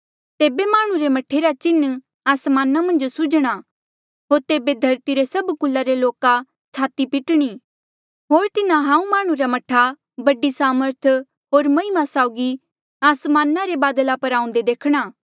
तेबे माह्णुं रे मह्ठे रा चिन्ह आसमाना मन्झ सूझ्णा होर तेबे धरती रे सभ कुला रे लोका छाती पिटणी होर तिन्हा हांऊँ माह्णुं रे मह्ठा बड़ी सामर्थ होर महिमा साउगी आसमाना रे बादला पर आऊंदे देखणा